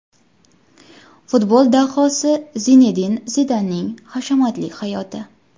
Futbol dahosi Zinedin Zidanning hashamatli hayoti.